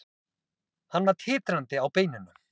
Hann var titrandi á beinunum.